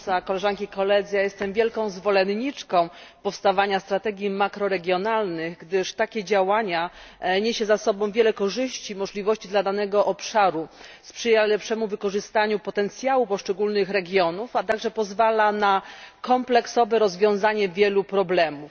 Pani Przewodnicząca! Jestem wielką zwolenniczką powstawania strategii makroregionalnych, gdyż takie działanie niesie ze sobą wiele korzyści i możliwości dla danego obszaru, sprzyja lepszemu wykorzystaniu potencjału poszczególnych regionów, a także pozwala na kompleksowe rozwiązanie wielu problemów.